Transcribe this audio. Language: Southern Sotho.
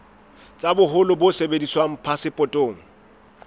tsa boholo bo sebediswang phasepotong